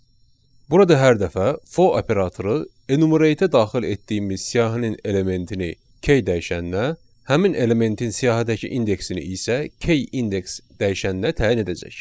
Burada hər dəfə for operatoru enumerateə daxil etdiyimiz siyahının elementini k dəyişəninə, həmin elementin siyahıdakı indeksini isə k index dəyişəninə təyin edəcək.